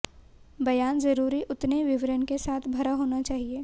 बयान जरूरी उतने विवरण के साथ भरा होना चाहिए